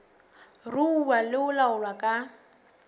ruuwa le ho laolwa ka